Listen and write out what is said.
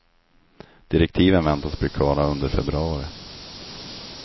Direktiven väntas bli klara under februari.